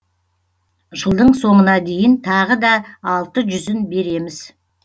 жылдың соңына дейін тағы да алты жүзін береміз